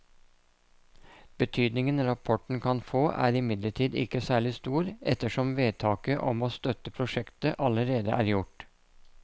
Betydningen rapporten kan få er imidlertid ikke særlig stor ettersom vedtaket om å støtte prosjektet allerede er gjort.